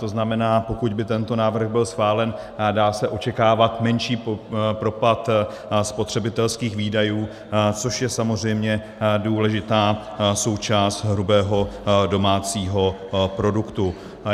To znamená, pokud by tento návrh byl schválen, dá se očekávat menší propad spotřebitelských výdajů, což je samozřejmě důležitá součást hrubého domácího produktu.